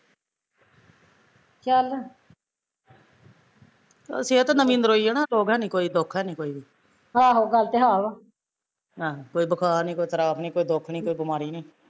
ਸਿਹਤ ਨਵੀਂ ਨਰੋਈ ਐ ਨਾ ਦੁਖ ਹੈਨੀ ਕੋਈ ਵੀ ਆਹੋ ਕੋਈ ਬੁਖਾਰ ਨੀ, ਕੋਈ ਤਰਾਪ ਨੀ, ਕੋਈ ਦੁਖ ਨੀ, ਕੋਈ ਬਿਮਾਰੀ ਨੀ